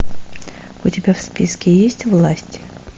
у тебя в списке есть власть